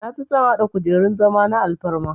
Nafison hada kujerun zama na alfarma